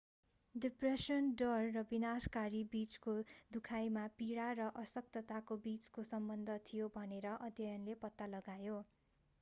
depression डर र विनाशकारी बिचको दुखाइमा पीडा र अशक्तताको बिचको सम्बन्ध थियो भनेर अध्ययनले पत्ता लगायो